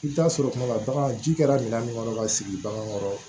I bɛ taa sɔrɔ tuma dɔ la baganji kɛra minan min kɔnɔ ka sigi bagan kɔrɔ